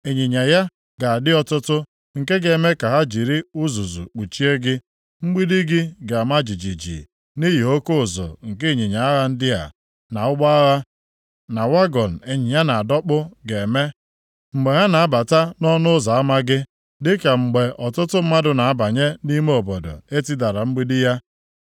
Ịnyịnya ya ga-adị ọtụtụ nke ga-eme ka ha jiri uzuzu kpuchie gị. Mgbidi gị ga-ama jijiji nʼihi oke ụzụ nke ịnyịnya agha ndị a, na ụgbọ agha, na wagọn ịnyịnya na-adọkpụ ga-eme, mgbe ha na-abata nʼọnụ ụzọ ama gị, dị ka mgbe ọtụtụ mmadụ na-abanye nʼime obodo e tidara mgbidi ya.